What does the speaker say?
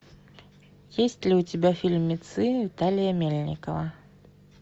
есть ли у тебя фильмецы виталия мельникова